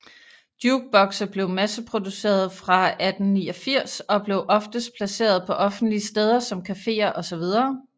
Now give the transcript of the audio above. Jukebokse blev masseproducerede fra 1889 og blev oftest placeret på offentlige steder som caféer osv